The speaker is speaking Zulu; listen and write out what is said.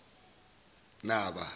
naba